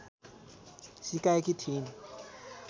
सिकाएकी थिइन्